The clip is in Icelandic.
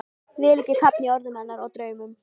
Vil ekki kafna í orðum hennar og draumum.